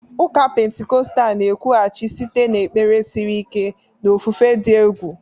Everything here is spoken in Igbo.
Ụka Pentikọstal na-ekwughachi site n'ekpere siri ike na ofufe dị egwu.